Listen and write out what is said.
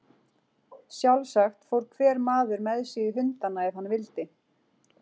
Sjálfsagt fór hver maður með sig í hundana ef hann vildi.